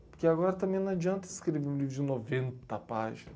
Porque agora também não adianta escrever um livro de noventa páginas.